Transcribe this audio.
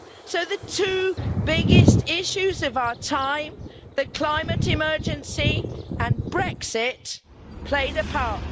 So the two biggest issues of our time, the climate emergency and Brexit, played a part.